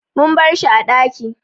Mun barshi a ɗaki